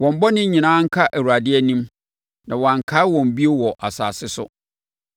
Wɔn bɔne nyinaa nka Awurade anim, na wɔankae wɔn bio wɔ asase so.